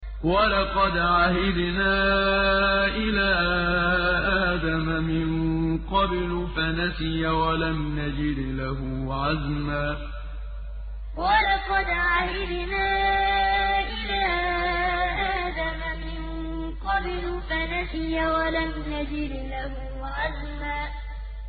وَلَقَدْ عَهِدْنَا إِلَىٰ آدَمَ مِن قَبْلُ فَنَسِيَ وَلَمْ نَجِدْ لَهُ عَزْمًا وَلَقَدْ عَهِدْنَا إِلَىٰ آدَمَ مِن قَبْلُ فَنَسِيَ وَلَمْ نَجِدْ لَهُ عَزْمًا